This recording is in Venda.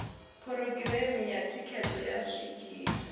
phurogireme ya thikhedzo ya zwikili